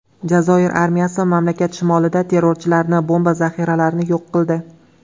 Jazoir armiyasi mamlakat shimolida terrorchilarning bomba zaxiralarini yo‘q qildi.